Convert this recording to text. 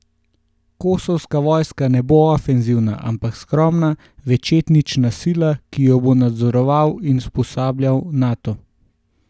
Kosovska vojska ne bo ofenzivna, ampak skromna, večetnična sila, ki jo bo nadzoroval in usposabljal Nato.